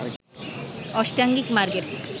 অষ্টাঙ্গিক মার্গের